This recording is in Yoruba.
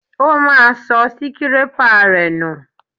Ó máa sọ síkirépà rẹ̀ nù